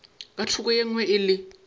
ka thoko e nngwe le